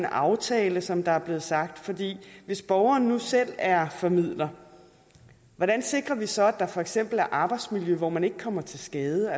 aftale som der er blevet sagt for hvis borgeren nu selv er formidler hvordan sikrer vi så at der for eksempel er et arbejdsmiljø hvor man ikke kommer til skade